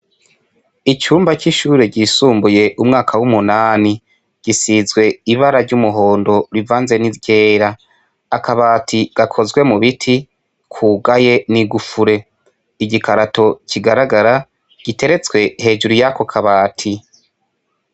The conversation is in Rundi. Icumba c'ishure ryisumbuye umwaka w'umunani gisizwe ibara ry'umuhondo rivanze n'iryera akabati gakozwe mu biti kugaye n'igufure igikarato kigaragara giteretswe hejuru y'ako kabati.